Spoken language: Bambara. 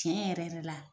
Tiɲɛ yɛrɛ yɛrɛ la